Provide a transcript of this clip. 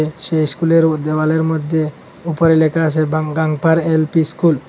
সে ইস্কুলের ও দেওয়ালের মদ্যে উপরে লেখা আসে বাং গাংপার এল_পি স্কুল ।